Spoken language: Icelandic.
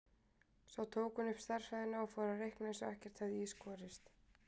Svo tók hún upp stærðfræðina og fór að reikna eins og ekkert hefði í skorist.